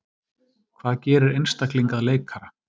Hvað gerir einstakling að leikara?